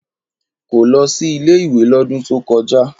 Kò lọ sí ilé-ìwé lọ́dún tó kọjá.